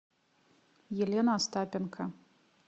елена остапенко